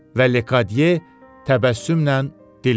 Və Lekadye təbəssümlə dilləndi.